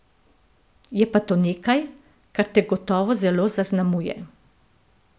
Je pa to nekaj, kar te gotovo zelo zaznamuje.